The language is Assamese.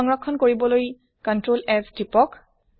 সংৰক্ষন কৰিবলৈ টিপক ctrl s